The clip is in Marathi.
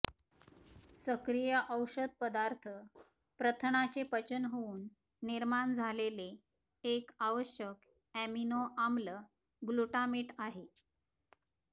सक्रिय औषध पदार्थ प्रथनाचे पचन होऊन निर्माण झालेले एक आवश्यक ऍमिनो आम्ल ग्लुटामेट आहे